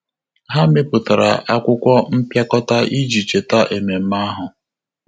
Há mèpụ̀tárà ákwụ́kwọ́ mpịakọta iji chètá ememe ahụ.